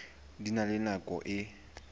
di na le nako e